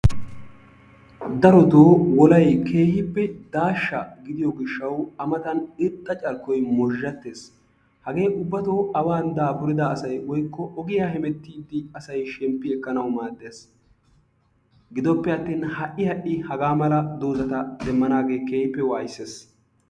Darotoo wolay keehippe daashsha gidiyoo giishshawu a matan irxxa carkkoy moozhzhattees. hagee ubbatoo aawan daapurida asay ogiyaa heemetti daapurida asay shemppi ekkanawu maaddees. gidoppeattin ha'i ha'i hagaa mala doozzata demmanagee keehippe waayissees.